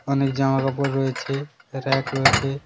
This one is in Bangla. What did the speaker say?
অনেক জামাকাপড় রয়েছে ব়্যাক রয়েছে।